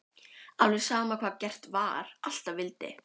Alveg sama hvað gert var, alltaf vildi